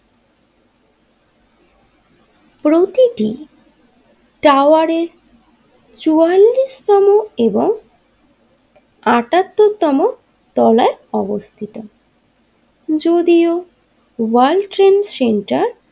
প্রতিটি টাওয়ারের চুয়াল্লিশ তম এবং আটাত্তর তম তলায় অবস্থিত যদিও ওয়ার্ল্ড ট্রেড সেন্টার।